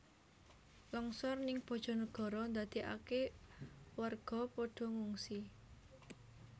Longsor ning Bojonegoro ndadeake warga podo ngungsi